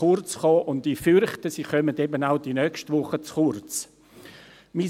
Ich befürchte, sie werden auch nächste Woche zu kurz kommen.